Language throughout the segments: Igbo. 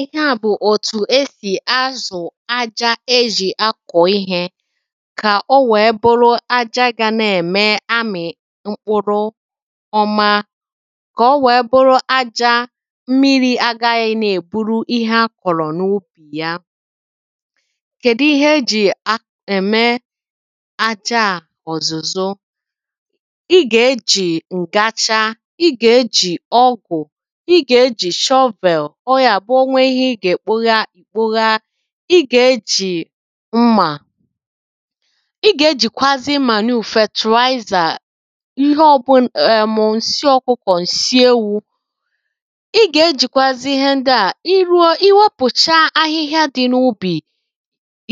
ihe à bụ̀ òtù esì azụ̀ aja ejì akọ̀ ihē kà o nwèe bụrụ aja gā nā-ème amị̀ mkpụrụ ọma kà o nwèe bụrụ aja mmirī agāghị̄ nā-èburu ihe akọ̀rọ̀ n’ubì ya kèdi ihe ejì ème aja à ọ̀zụ̀zọ ị gà-ejì ǹgacha, ị gà-ejì ọgwụ̀ i gà-ejì shovel ọ gà-àbụ o nwe ihe ị gà-èkpoga kpoga ị gà-ejì mmà ị gà-ejìkwazi màniù fètùaizà ihe ọ̄bụ̄n ẹ̀mụ̀ ǹsị ọ̄kụ̄kọ̀ ǹsị ewū ị gà-ejìkwazi ihe ndị à ị ruo ị wopùcha ahịhịa dị̄ n’ubì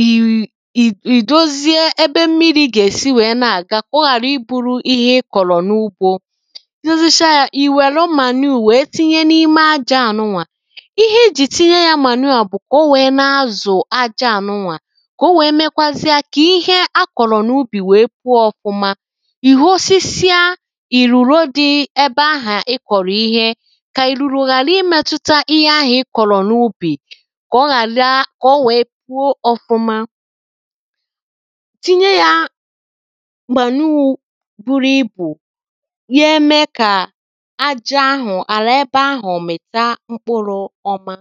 ì…ì…ì… dozie ebe mmirī gà-èsi nwèe na-àga kà ọ ghàra ibūrū ihe ị kọ̀rọ̀ n’ugbō ị dozicha yā ì nwère màniù nwèe tinye n'ime ajā à nụà ihe i jì tinye yā màniù à bụ̀ kà o nwèe na-azụ̀ aja à nụà kà o nwèe mekwazia kà ihe akọ̀rọ̀ n’ubì nwèe puo ọ̄fụ̄mā ị̀ hosisia ìrùro dị ebe ahà ị kọ̀rọ̀ ihe kà ìrùrò ghàra imētūtā ihe ahụ̀ ị kọ̀rọ̀ n’ubì kà ọ ghàra kà o nwèe puo ọ̄fụ̄mā tinye yā màniū būrū ibù ga-eme kà aja ahụ̀ àlà ebe ahụ̀ mị̀ta mkpụrụ̄ ọ̄mā